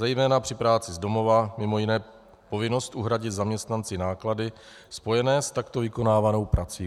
Zejména při práci z domova mimo jiné povinnost uhradit zaměstnanci náklady spojené s takto vykonávanou prací.